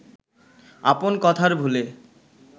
আপন কথার ভুলে